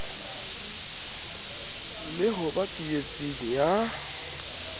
le ho ba tsietseng ya